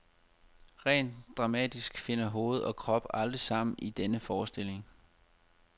Rent dramatisk finder hoved og krop aldrig sammen i denne forestilling.